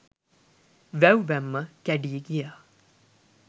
වැව් බැම්ම කැඞී ගියා